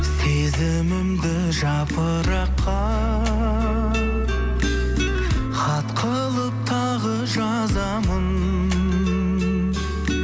сезімімді жапыраққа хат қылып тағы жазамын